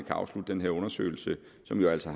afslutte den her undersøgelse som jo altså